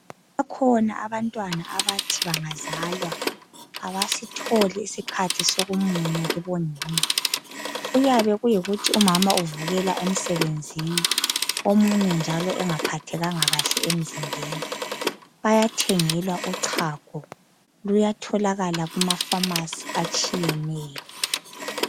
Bakhona abantwana abathi bangazalwa abasitholi isikhathi sokumunya kibonina. Kuyabe kuyikuthi umama uvukela emsebenzeni omunye njalo engaphathekanga emzimbeni. Bayathengelwa uchago, luyatholakala kuma"pharmacy" atshiyeneyo.